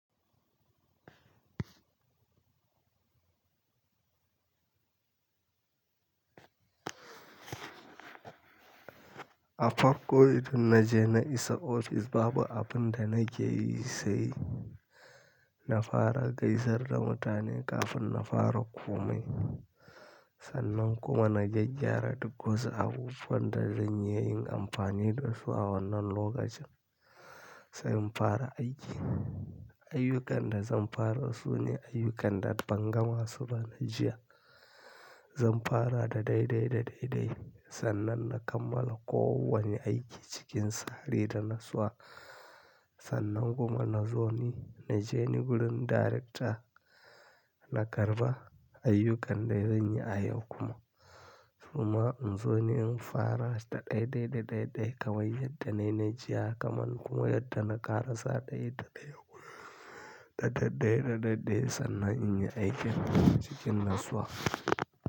A farko, idan na je na isa ofis Baba abin da nake yi sai na fara gaisar da mutane kafin na fara komai. Sannan kuma na gyaggyara duk wasu abubuwan da zan yi in amfani da su a wannan lokacin sai in fara aiki. Ayyukan da zan fara su ne ayyukan da bangama su ba na jiya. Zan fara da daidai da daidai sannan na kammala kowanne aiki cikin tsari da natsuwa sannan kuma na zo ni, na je ni wurin darekta na karɓa ayyukan da zan yi a yau kuma. Kuma in zo ni in fara da daidai da daidai kawai yadda na yi jiya kaman kuma yadda na ƙarasa ɗaya da ɗaya kuma da daidai da daidai sannan in yi aikin cikin natsuwa.